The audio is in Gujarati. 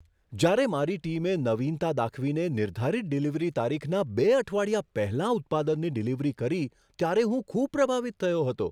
જ્યારે મારી ટીમે નવીનતા દાખવીને નિર્ધારિત ડિલિવરી તારીખના બે અઠવાડિયા પહેલાં ઉત્પાદનની ડિલિવરી કરી ત્યારે હું ખૂબ પ્રભાવિત થયો હતો.